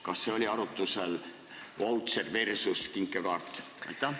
Kas oli arutusel "vautšer" versus "kinkekaart"?